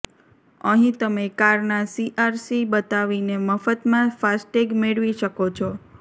અહીં તમે કારના સીઆરસી બતાવીને મફતમાં ફાસ્ટેગ મેળવી શકો છો